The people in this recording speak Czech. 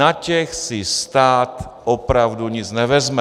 Na těch si stát opravdu nic nevezme.